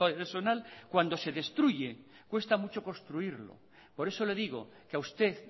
personal cuando se destruye cuesta mucho construirlo por eso le digo que a usted